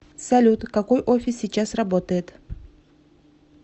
салют какой офис сейчас работает